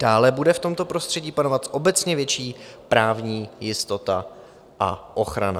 Dále bude v tomto prostředí panovat obecně větší právní jistota a ochrana.